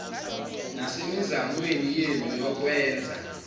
nasemizamweni yenu yokwenza